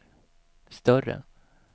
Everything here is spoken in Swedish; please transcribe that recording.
större